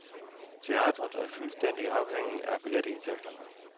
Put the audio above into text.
Teatret er fuldstændig afhængigt af billetindtægterne.